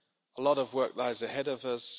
A lot of work lies ahead of us.